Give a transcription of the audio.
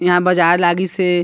यहाँ बाज़ार लगिस हे।